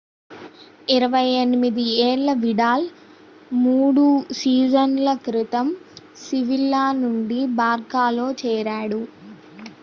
28 ఏళ్ల విడాల్ 3 సీజన్‌ల క్రితం sevilla నుండి barçaలో చేరాడు